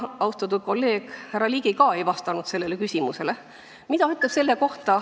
Austatud kolleeg härra Ligi ka ei vastanud sellele küsimusele.